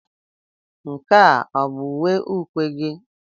Nke a ọ bụ uwe ukwe gị?